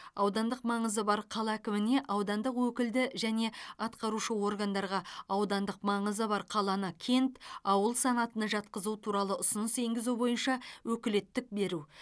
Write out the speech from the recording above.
аудандық маңызы бар қала әкіміне аудандық өкілді және атқарушы органдарға аудандық маңызы бар қаланы кент ауыл санатына жатқызу туралы ұсыныс енгізу бойынша өкілеттік беру